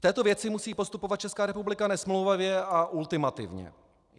V této věci musí postupovat Česká republika nesmlouvavě a ultimativně.